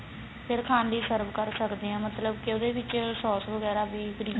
ਫੇਰ ਖਾਣ ਲਈ serve ਕਰ ਸਕਦੇ ਆ ਮਤਲਬ ਕੀ ਉਹਦੇ ਵਿਚ ਸੋਸ ਵਗੈਰਾ ਵੀ cream